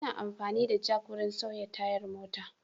Ana amfani da jak wurin sauya tayar mota.